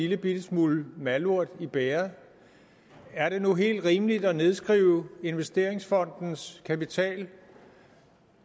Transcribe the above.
lillebitte smule malurt i bægeret er det nu helt rimeligt at nedskrive investeringsfondens kapital